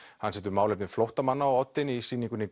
hann setur málefni flóttamanna á oddinn í sýningunni